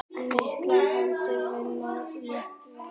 Margar hendur vinna létt verk!